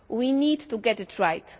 We need to get it right.